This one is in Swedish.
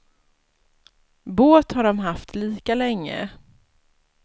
Båt har de haft lika länge.